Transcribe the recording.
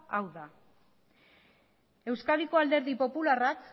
hau da euskadiko alderdi popularrak